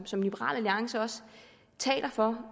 som liberal alliance også taler for